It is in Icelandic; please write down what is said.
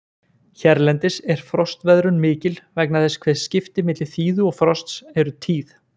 Hérlendis er frostveðrun mikil vegna þess hve skipti milli þíðu og frosts eru tíð.